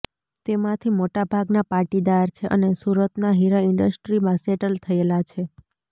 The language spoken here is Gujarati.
તેમાંથી મોટાભાગના પાટીદાર છે અને સુરતના હીરા ઈન્ડસ્ટ્રીમાં સેટલ થયેલા છે